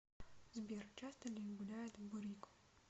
сбер часто ли гуляет бурико